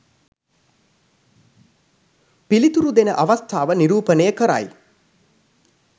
පිළිතුරු දෙන අවස්ථාව නිරූපණය කරයි.